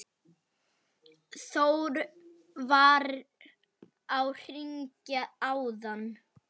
Þór var að hringja áðan.